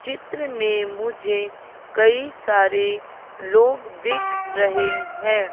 चित्र में मुझे कई सारे लोग दिख रहे हैं।